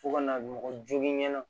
Fo ka na mɔgɔ jogin na